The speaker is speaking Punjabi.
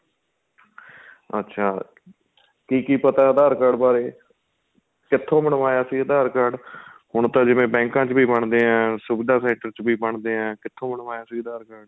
ਅੱਛਾ ਕੀ ਕੀ ਪਤਾ ਏ aadhar card ਬਾਰੇ ਕਿਥੋ ਬਣਵਾਇਆ ਸੀ aadhar card ਹੁਣ ਤਾਂ ਜਿਵੇਂ ਬੈੰਕਾਂ ਵਿੱਚ ਵੀ ਬਣਦੇ ਏ ਸੁਵਿਧਾ center ਵਿੱਚ ਵੀ ਬਣਦੇ ਏ ਕਿਥੋ ਬਣਵਾਇਆ ਸੀ aadhar card